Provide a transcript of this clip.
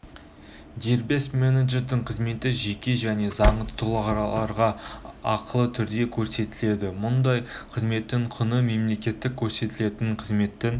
дербес менеджердің қызметі жеке және заңды тұлғаларға ақылы түрде көрсетіледі мұндай қызметтің құны мемлекеттік көрсетілетін қызметтің